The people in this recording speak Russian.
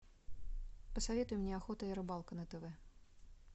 посоветуй мне охота и рыбалка на тв